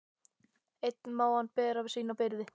Einn má hann bera sína byrði.